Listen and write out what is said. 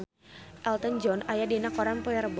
Elton John aya dina koran poe Rebo